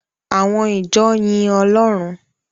Àwọn ìjọ yin Ọlọ́run.